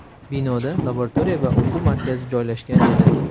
Binoda laboratoriya va o‘quv markazi joylashgan edi.